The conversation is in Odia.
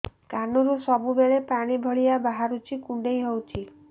କାନରୁ ସବୁବେଳେ ପାଣି ଭଳିଆ ବାହାରୁଚି କୁଣ୍ଡେଇ ହଉଚି